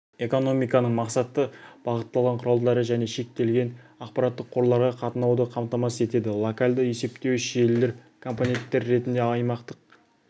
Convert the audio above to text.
экономиканың мақсатты бағытталған құралдары және шектелген ақпараттық қорларға қатынауды қамтамасыз етеді локалды есептеуіш желілер компоненттер ретінде аймақтық